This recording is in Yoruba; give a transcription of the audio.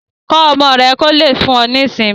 Kọ́ ọmọ rẹ kò lè fún ọ ní ìsinmi